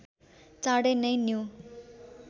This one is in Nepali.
चाँडै नै न्यु